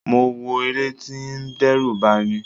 Mo wọ̀ eré tí ó ń dẹ́rù bani.